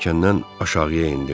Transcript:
Pilləkəndən aşağıya endim.